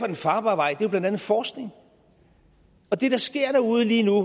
den farbare vej jo blandt andet forskning og det der sker derude lige nu